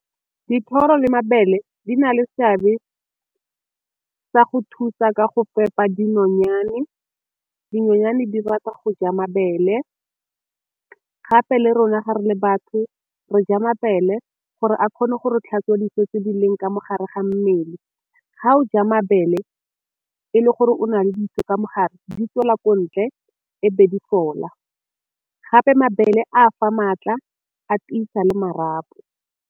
Dithoro le mabele di na le seabe tsa go thusa ka go fepa dinonyane, dinonyane di rata go ja mabele gape le rona gare le batho re ja mabele gore a kgone go re tlhatswa tse di ka mo gare ga mmele. Ga o ja mabele e le gore o na le ka mogare di tswela ko ntle e be di fola, gape mabele a fa maatla a tiisa le marapo.